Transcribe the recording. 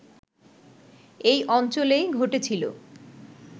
এই অঞ্চলেই ঘটেছিল